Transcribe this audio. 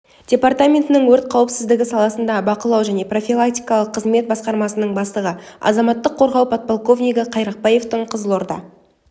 департаментінің өрт қауіпсіздігі саласындағы бақылау және профилактикалық қызмет басқармасының бастығы азаматтық қорғау подполковнигі қайрақбаевтың қызылорда